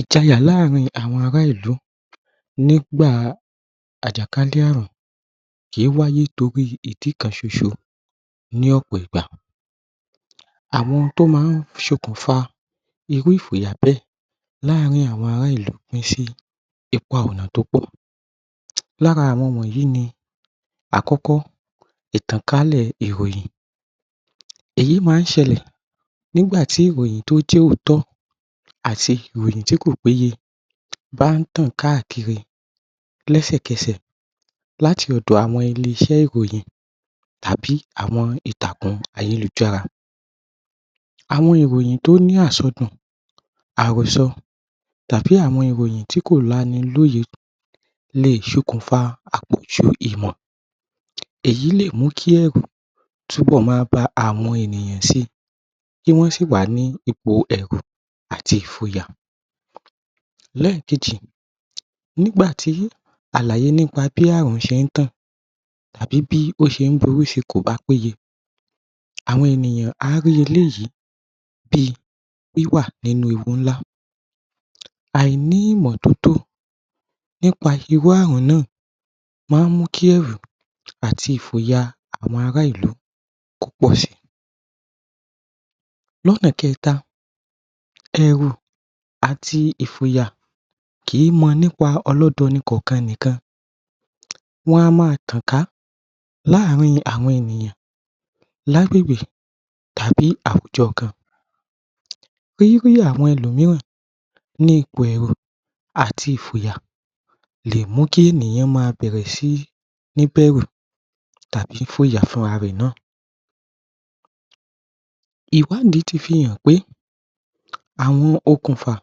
Ìjayà láàárín àwọn ará ìlú nígbà àjàkálẹ̀àrùn kí i wáyé nítorí ìdí kan ṣoṣo ní ọ̀pọ̀ ìgbà. Àwọn tó máa ń ṣokùnfà irú ìfòyà bẹ́ẹ̀ láàárín àwọn ará ìlú kí ṣe ipa ọ̀nà tó pọ̀. Lára àwọn wọnyìí ni Àkọ́kọ́ Ìtànkálẹ̀ ìròyìn Èyí máa ń ṣẹlẹ̀ nígbà tí ìròyìn tó jẹ́ òótọ́ àti ìròyìn tí kò péye bá ń tàn káàkiri lẹ́sẹ̀kẹsẹ̀ láti ọ̀dọ̀ àwọn ilé-iṣẹ́ ìròyìn tàbí àwọn ìtàkùn ayélujára. Àwọn ìròyìn tó ní àsọdùn, àròsọ, tàbí àwọn ìròyìn tí ko lanilóye le ṣokùnfa àpọ̀jù ìmọ̀. Èyí lè mú kí ẹ̀rù túbọ̀ máa ba àwọn ènìyàn si, kí wọ́n sì wà ní ipò ẹ̀rù àti ìfòyà. Lẹ́ẹ̀kejì nígbà tí àlàyé nípa bi àrùn ṣé ń tàn tàbí bí ó ṣe ń borí si kò bá péye, àwọn ènìyàn á rí eléyìí bí i wíwà nínú ewu ńlá. Àìní ìmọ̀ tótó nípa irú àrùn náà máa ń mú kí ẹ̀rù àti ìfòyà àwọn ará-ìlú kó pọ̀ si. Lọ́nà kẹ́ta, ẹ̀rù àti ìfòyà kìí mọ nípa ọlọ́dọni ikọ̀ọ̀kan nìkan. Wọ́n a máa tàn ká láàárín àwọn ènìyàn lágbègbè tàbí àwùjọ kan. Rírí àwọn ẹlòmííràn ní ipò ẹ̀rù àti ìfòyà lè mú kí ènìyàn máa bẹ̀rẹ̀ sí níbẹ̀rù tàbí ìfòyà fún rarẹ̀ náà. Ìwádìí ti fi hàn pé àwọn okùnfà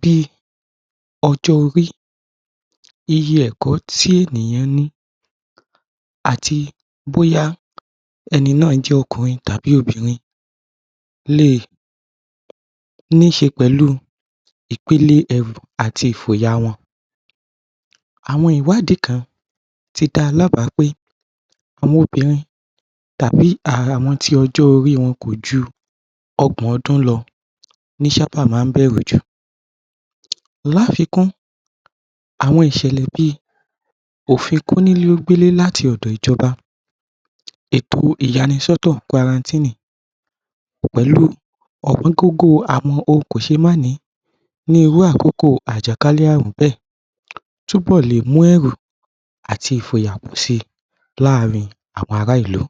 bí i ọjọ́-orí, iye ẹ̀kọ́ tí ènìyàn ní, àti bóyá ẹni náà jẹ́ ọkùnrin tàbí obìnrin lè ní ṣe pẹ̀lú ìpele ẹ̀rù àti ìfòyà wọn. Àwọn ìwádìí kan tí da lábà pé àwọn obìnrin tàbí àwọn tí ọjọ́ orí wọn kò ju ọgbọ̀n ọdún lọ ní ṣábà máa ń bẹ̀rù jù. Láfìkún àwọn ìṣẹ̀lẹ̀ bí i òfin kónílé ó gbélé láti ọ̀dọ̀ ìjọba èto ìyanisọ́tọ̀ pẹ̀lú ohun kò ṣe máà ni ní irú àkókò àjàkálẹ̀àrùn bẹ́ẹ̀ túbọ̀ lè mú ẹ̀rù àti ìfòyà pọ̀ si láàárín àwọn ará-ìlú.